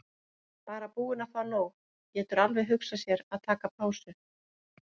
Bara búinn að fá nóg, getur alveg hugsað sér að taka pásu.